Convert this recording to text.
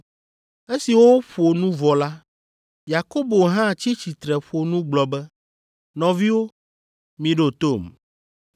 Esi woƒo nu vɔ la, Yakobo hã tsi tsitre ƒo nu gblɔ be, “Nɔviwo, miɖo tom.